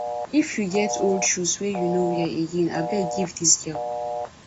if you get old shoes wey you no wear again abeg give dis girl